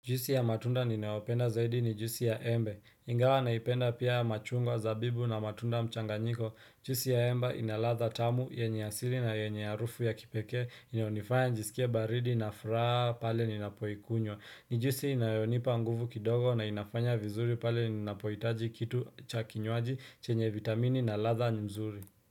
Juisi ya matunda ninaopenda zaidi ni juisi ya embe, ingawa naipenda pia machungwa zabibu na matunda mchanganyiko juisi ya embe inaladha tamu, yenye asili na yenye harufu ya kipekee, inayonifanya nijisikia baridi na furaha pale ninapoikunywa ni juisi inayonipa nguvu kidogo na inafanya vizuri pale ninapohitaji kitu cha kinywaji chenye vitamini na ladha nzuri.